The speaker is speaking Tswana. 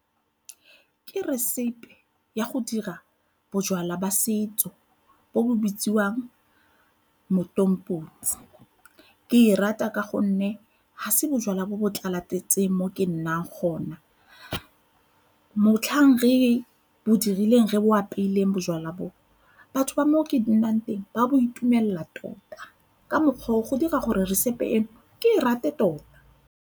Ke resepi ya go dira bojalwa jwa setso bo bo bitsiwang motomboti, ke e rata ka gonne ha se bojalwa bo bo tlala-tletseng mo ke nnang gona. Motlhang re bo dirileng, re bo apeileng bojalwa bo, batho ba mo ke nnang teng ba bo itumelela tota ka mokgwa o go dira gore resepi eno ke e rate tota.